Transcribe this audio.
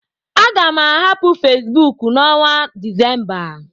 Aga m ahapụ Fesbuk n' onwa Decemba